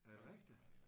Er det rigtigt?